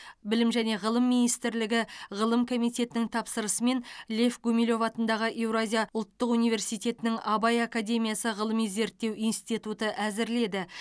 білім және ғылым министрлігі ғылым комитетінің тапсырысымен лев гумилев атындағы еуразия ұлттық университетінің абай академиясы ғылыми зерттеу институты әзірледі